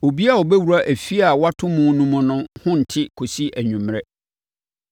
“Obiara a ɔbɛwura efie a wɔato mu no mu no ho nte kɔsi anwummerɛ.